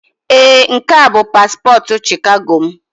Ee, nke a bụ paspọtụ Shikago m.